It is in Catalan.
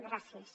gràcies